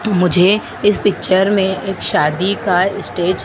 मुझे इस पिक्चर में एक शादी का स्टेज --